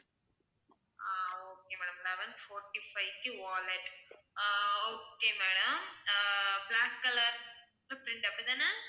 ஆஹ் okay madam eleven fourty-five க்கு wallet ah okay madam ah black color க்கு print அப்படித்தானே?